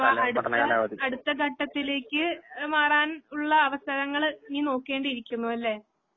അപ്പ അടുത്ത അടുത്തഘട്ടത്തിലേക്ക് മാറാൻ ഉള്ള അവസരങ്ങള് നീ നോക്കേണ്ടിയിരിക്കുന്നുയല്ലേ?